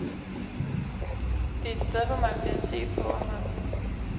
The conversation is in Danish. Det er et sted, hvor man bliver set på af mange.